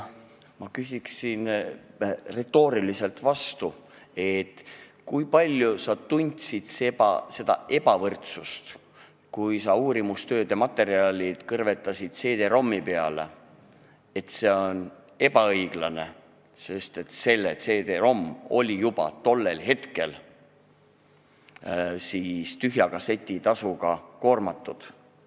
Ma küsiksin retooriliselt vastu, kui palju sa tundsid seda ebavõrdsust, kui sa uurimistööd ja materjalid kõrvetasid CD-ROM-i peale, ning tunnetasid, et see on ebaõiglane, sest CD-ROM oli juba tollel hetkel tühja kasseti tasuga koormatud.